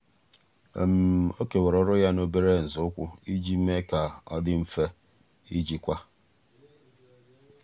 ọ́ kèwàrà ọ́rụ́ ya n’óbèré nzọụkwụ iji mee kà ọ́ dị́ mfe íjíkwá.